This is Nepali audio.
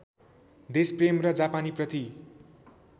देशप्रेम र जापानीप्रति